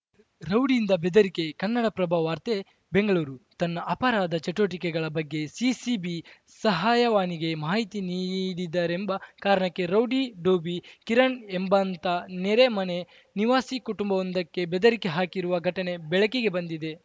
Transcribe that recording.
ರೌಡಿಯಿಂದ ಬೆದರಿಕೆ ಕನ್ನಡಪ್ರಭ ವಾರ್ತೆ ಬೆಂಗಳೂರು ತನ್ನ ಅಪರಾಧ ಚಟುವಟಿಕೆಗಳ ಬಗ್ಗೆ ಸಿಸಿಬಿ ಸಹಾಯವಾಣಿಗೆ ಮಾಹಿತಿ ನೀಡಿದರೆಂಬ ಕಾರಣಕ್ಕೆ ರೌಡಿ ಡೋಬಿ ಕಿರಣ್‌ ಎಂಬಾಂತ ನೆರೆ ಮನೆ ನಿವಾಸಿ ಕುಟುಂಬವೊಂದಕ್ಕೆ ಬೆದರಿಕೆ ಹಾಕಿರುವ ಘಟನೆ ಬೆಳಕಿಗೆ ಬಂದಿದೆ